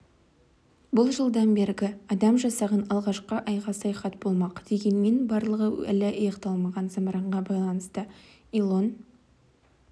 бұл жылдан бергі адам жасаған алғашқы айға саяхат болмақ дегенмен барлығы әлі аяқталмаған зымыранға байланысты илон